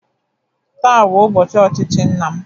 Taa bụ ụbọchị ochichi nna m